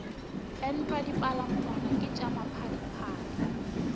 pentwa dipalamonwana ke tša maphadiphadi